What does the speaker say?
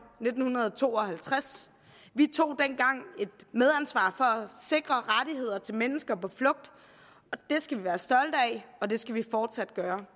nitten to og halvtreds vi tog dengang at sikre rettigheder til mennesker på flugt og det skal vi være stolte af og det skal vi fortsat gøre